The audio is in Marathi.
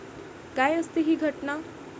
काय असते ही घटना?